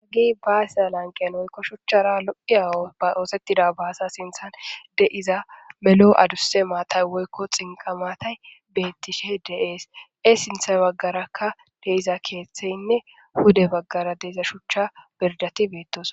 haaggi baasiya lanqen woykko shuchchara lo7iya ba doosettida baasa sinthan de7iza melo aduse maatay woykko xinqa matay bettishe deees e sinthay baggarakka deiza keeththeynne huda baggara deza shuchcha berdati beettos